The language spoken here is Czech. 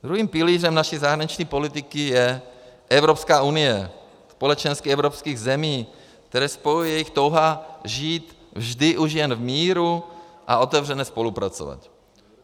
Druhým pilířem naší zahraniční politiky je Evropská unie - společenství evropských zemí, které spojuje jejich touha žít vždy už jen v míru a otevřeně spolupracovat.